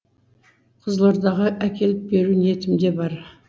қызылордаға әкеліп беру ниетімде бар